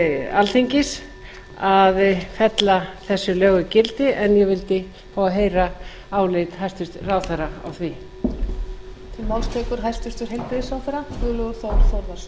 alþingis að fella þessi lög úr gildi en ég vildi fá að heyra álit hæstvirtur ráðherra á því